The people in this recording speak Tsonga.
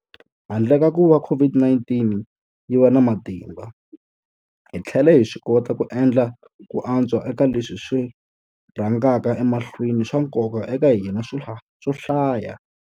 Handle ka kuva COVID-19 yi va na matimba, hi tlhele hi swikota ku endla ku antswa eka leswi swi rhangaka emahlweni swa nkoka eka hina swo hlaya.